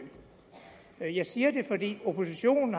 jeg siger det fordi oppositionen